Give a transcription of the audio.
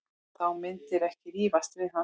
Þú myndir ekki rífast við hann.